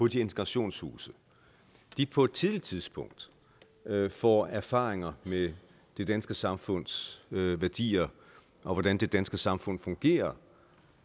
de integrationshuse på et tidligt tidspunkt får erfaringer med det danske samfunds værdier og hvordan det danske samfund fungerer